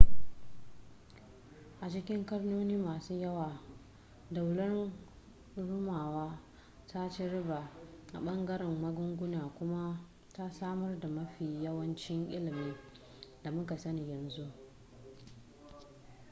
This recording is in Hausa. a cikin ƙarnoni masu yawa daular rumawa ta ci riba a ɓangaren magunguna kuma ta samar da mafi yawancin ilimin da mu ka sani yanzu